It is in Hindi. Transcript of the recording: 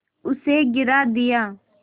उसे गिरा दिया